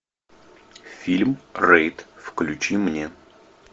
фильм рейд включи мне